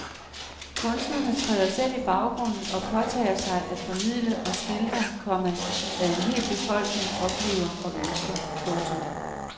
Kunstnerne træder selv i baggrunden og påtager sig at formidle og skildre, komma hvad en hel befolkning oplever og ønsker. punktum